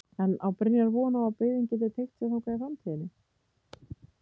En á Brynjar von á að byggðin gæti teygt sig þangað í framtíðinni?